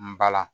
N bala